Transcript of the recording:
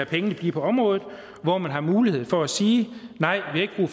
pengene blive på området og hvor man har mulighed for at sige nej vi har